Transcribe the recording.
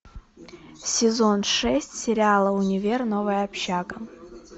сезон шесть сериала универ новая общага